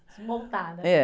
Montar, né?.